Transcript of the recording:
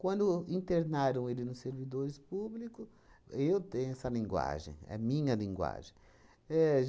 Quando internaram ele nos servidores público, eu tenho essa linguagem, é minha linguagem. Éh